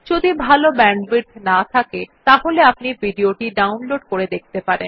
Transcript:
যদি ভাল ব্যান্ডউইডথ না থাকে তাহলে আপনি ভিডিও টি ডাউনলোড করে দেখতে পারেন